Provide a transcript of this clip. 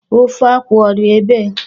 Ofe akwụ ọ dị ebee?